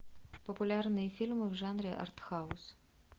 популярные фильмы в жанре артхаус